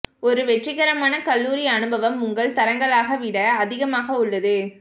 ஒரு வெற்றிகரமான கல்லூரி அனுபவம் உங்கள் தரங்களாக விட அதிகமாக உள்ளது